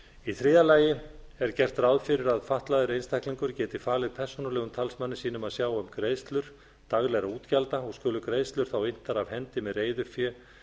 í þriðja lagi er gert ráð fyrir að fatlaður einstaklingur geti falið persónulegum talsmanni sínum að sjá um greiðslur daglegra útgjalda og skulu greiðslur þá inntar af hendi með reiðufé